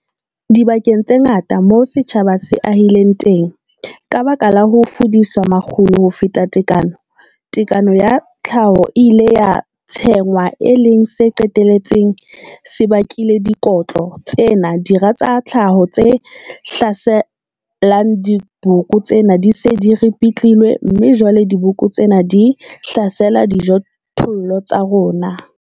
Dibakeng tse ngata moo setjhaba se ahileng teng, ka baka la ho fudisa makgulo ho feta tekano, tekano ya tlhaho e ile ya tshwengwa, e leng se qetelletseng se bakile dikotlo ditlhaselo tsena dira tsa tlhaho tse hlaselang diboko tsena di se di ripitlilwe, mme jwale diboko tsena di hlasela dijothollo tsa rona.